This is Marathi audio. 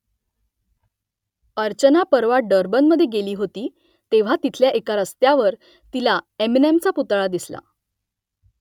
अर्चना परवा डर्बनमधे गेली होती तेव्हा तिथल्या एका रस्त्यावर तिला एमिनेमचा पुतळा दिसला